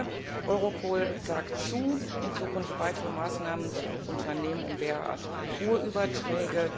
Aber Europol sagt zu, in Zukunft weitere Maßnahmen zu treffen, um derart hohe Überträge